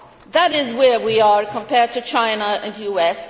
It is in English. That is where we are compared to China and the US.